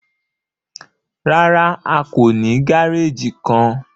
Rárá, a kò ní gàrèjì kán.